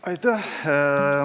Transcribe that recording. Aitäh!